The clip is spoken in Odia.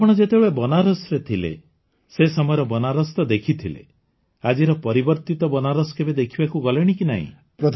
ଆପଣ ଯେତେବେଳେ ବନାରସରେ ଥିଲେ ସେ ସମୟର ବନାରସ ତ ଦେଖିଥିଲେ ଆଜିର ପରିବର୍ତ୍ତିତ ବନାରସ କେବେ ଦେଖିବାକୁ ଗଲେଣି କି ନାହିଁ